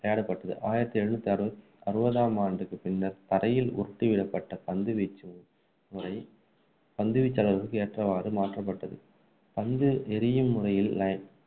விளையாடப்பட்டது ஆயிரத்து எழுநூற்று அறுபத்து அறுபதாம் ஆண்டுக்குப் பின்னர் தரையில் உருட்டி விடப்பட்ட பந்து வீச்சு முறை பந்து வீச்சாளர்களுக்கு ஏற்றவாறு மாற்றப்பட்டது பந்து எறியும் முறையில்